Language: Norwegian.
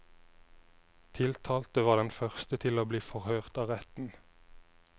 Tiltalte var den første til å bli forhørt av retten.